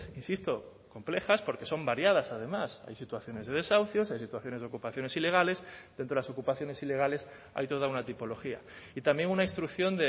insisto complejas porque son variadas además hay situaciones de desahucios hay situaciones de ocupaciones ilegales de entre las ocupaciones ilegales hay toda una tipología y también una instrucción